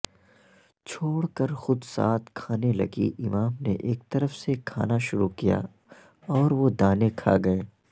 چھوڑکرخودساتھ کھانے لگی امام نے ایک طرف سے کھانا شروع کیا اوروہ دانے کھاگئے